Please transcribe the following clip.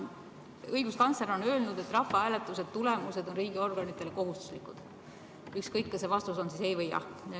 Õiguskantsler on öelnud, et rahvahääletuse tulemused on riigiorganitele kohustuslikud, ükskõik kas see vastus on ei või jah.